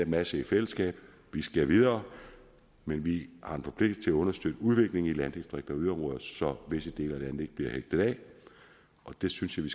masse i fællesskab vi skal videre men vi har en forpligtelse til at understøtte udviklingen i landdistrikter og yderområder så visse dele af ikke bliver hægtet af og det synes jeg